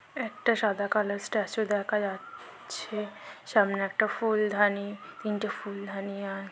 একটা সাদা কালো স্ট্যাচু দেখা যা-এ-চ্ছে সামনে একটা ফুলদাঁনি তিনটে ফুলদাঁনি আর--